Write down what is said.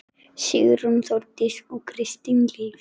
Sigrún, Þórdís og Kristín Líf.